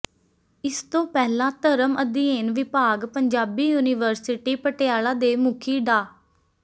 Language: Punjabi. ਇਸਤੋਂ ਪਹਿਲਾਂ ਧਰਮ ਅਧਿਐਨ ਵਿਭਾਗ ਪੰਜਾਬੀ ਯੂਨੀਵਰਸਿਟੀ ਪਟਿਆਲਾ ਦੇ ਮੁਖੀ ਡਾ